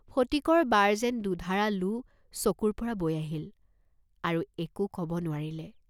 ফটিকৰ বাৰ যেন দুধাৰা লো চকুৰ পৰা বৈ আহিল, আৰু একো কব নোৱাৰিলে।